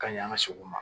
Ka ɲɛ an ka segu ma